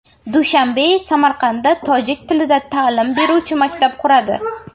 Dushanbe Samarqandda tojik tilida ta’lim beruvchi maktab quradi.